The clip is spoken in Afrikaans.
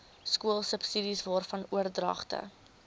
skoolsubsidies waarvan oordragte